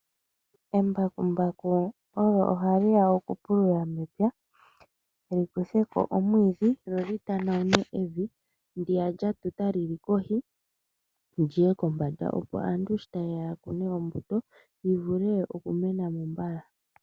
Embakumbaku olyo hali ya okupulula mepya, likuthe ko omwiidhi, lyo li tanawune evi ndiya lyatuta lili kohi liye kombanda. Opo aantu sho ta yeya okukuna ombuto yi vule oku mena mo mbala.